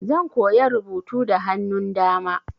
Zan koya rubutu da hannun dama.